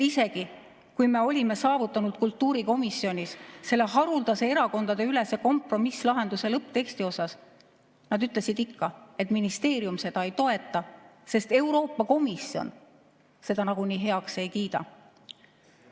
Isegi kui me olime kultuurikomisjonis saavutanud selle haruldase erakondadeülese kompromisslahenduse lõppteksti suhtes, ütlesid nad ikka, et ministeerium seda ei toeta, sest Euroopa Komisjon seda nagunii heaks ei kiida.